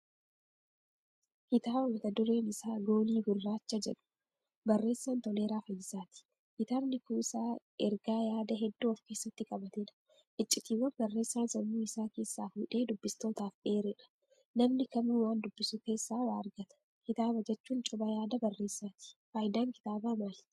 Kitaaba mata dureen isaa"goolii gurraacha"jedhu. Barreessaan Toleeraa fayisaati. Kitaabni kuusaa ergaa yaada hedduu ofkeessatti qabatedha. Iccitiiwwan barreessaan sammuu isaa keessaa fuudhee dubbistootaaf eeredha. Namni kamuu waan dubbisu keessaa waa argata. Kitaaba jechuun coba yaada barreessaati. Faayidaan kitaabaa maali?